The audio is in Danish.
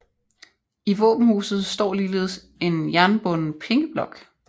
I våbenhuset står ligeledes en jernbunden pengeblok